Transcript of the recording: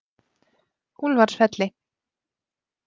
Úlfarsfelli